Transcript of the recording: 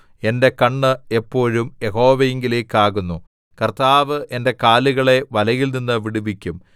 എന്റെ കണ്ണ് എപ്പോഴും യഹോവയിങ്കലേക്കാകുന്നു കർത്താവ് എന്റെ കാലുകളെ വലയിൽനിന്ന് വിടുവിക്കും